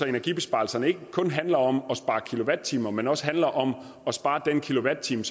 energibesparelser ikke kun handler om at spare kilowatt timer men også handler om at spare den kilowatt time